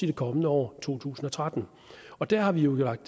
det kommende år to tusind og tretten og der har vi jo lagt